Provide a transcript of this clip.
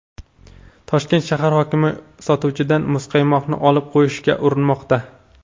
Toshkent shahar hokimi sotuvchidan muzqaymoqni olib qo‘yishga urinmoqda.